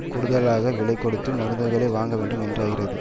கூடுதலாக விலை கொடுத்து மருந்துகளை வாங்கவேண்டும் என்றாகிறது